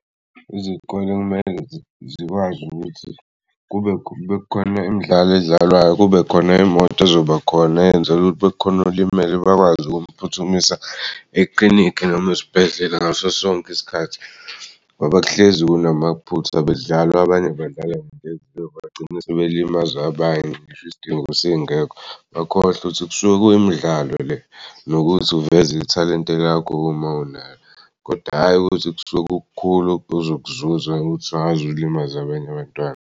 Izikole kumele zikwazi ukuthi kube khona imidlalo edlalwayo kube khona imoto ezobakhona yenzel'ukuthi bekukhona olimele bakwazi ukumphuthumisa eklinikhi noma esibhedlela ngaso sonke isikhathi ngoba kuhlezi kunamaphutha bekudlala abanye badlala bagcine sebelimaza abanye ngisho isidingo singekho bakhohlwe ukuthi kusuke kuyimidlalo le nokuthi uveze ithalente lakho uma unalo kodwa hhayi ukuthi kusuke kukukhulu osuke uzokuzuza ukuthi sungazulimaza abanye abantwana.